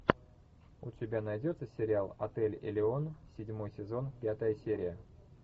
у тебя найдется сериал отель элеон седьмой сезон пятая серия